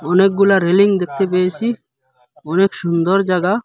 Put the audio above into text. অনেকগুলা রেলিং দেখতে পেয়েসি অনেক সুন্দর জাগা।